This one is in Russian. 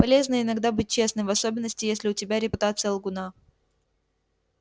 полезно иногда быть честным в особенности если у тебя репутация лгуна